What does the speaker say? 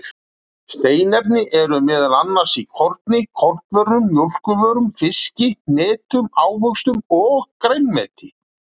Steinefni eru meðal annars í korni og kornvörum, mjólkurvörum, fiski, hnetum, ávöxtum og grænmeti.